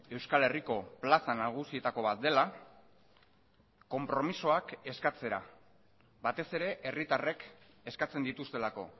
euskal herriko plaza nagusietako bat dela konpromisoak eskatzera batez ere herritarrek eskatzen dituztelako